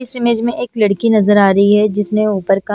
इस इमेज में एक लड़की नजर आ रही है जिसने ऊपर का--